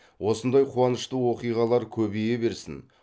осындай қуанышты оқиғалар көбейе берсін